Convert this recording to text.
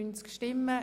/ Grüne [